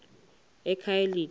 ekhayelitsha